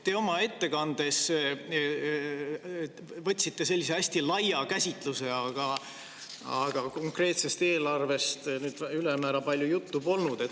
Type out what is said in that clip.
Te oma ettekandes võtsite sellise hästi laia käsitluse, aga konkreetsest eelarvest ülemäära palju juttu polnud.